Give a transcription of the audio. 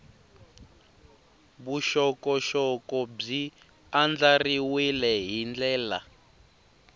vuxokoxoko byi andlariwile hi ndlela